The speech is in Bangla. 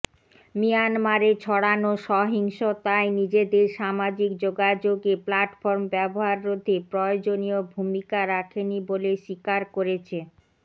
মিয়ানমারে ছড়ানো সহিংসতায় নিজেদের সামাজিক যোগাযোগে প্ল্যাটফর্ম ব্যবহার রোধে প্রয়োজনিয় ভূমিকা রাখেনি বলে স্বীকার করেছে